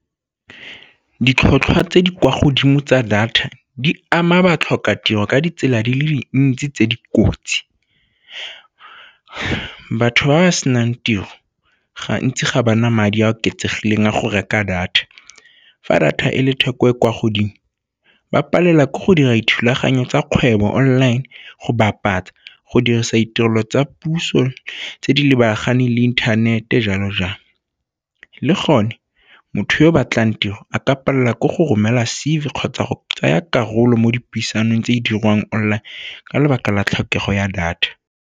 Ditlhotlhwa tse di kwa godimo tsa data di ama ba tlhoka tiro ka ditsela di le dintsi tse di kotsi. Batho ba ba senang tiro gantsi ga bana madi a a oketsegileng a go reka data. Fa data e le theko e kwa godimo ba palelwa ke go dira dithulaganyo tsa kgwebo online go bapatsa, go dirisa ditirelo tsa puso tse di lebaganeng le inthanete jalo-jalo. Le gone, motho yo o batlang tiro a ka palelwa ke go romela C_V kgotsa go tsaya karolo mo dipuisanong tse di dirwang online ka lebaka la tlhokego ya data.